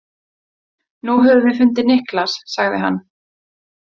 Nú höfum við fundið Niklas, sagði hann.